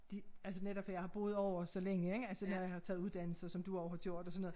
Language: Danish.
De altså netop for jeg har boet ovre så længe ik altså når jeg har taget uddannelse som du også har gjort og sådan noget